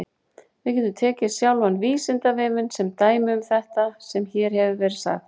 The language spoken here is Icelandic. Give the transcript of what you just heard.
Við getum tekið sjálfan Vísindavefinn sem dæmi um þetta sem hér hefur verið sagt.